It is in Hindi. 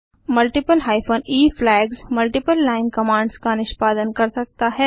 multiple hyphen e flags multiple line commands का निष्पादन कर सकता है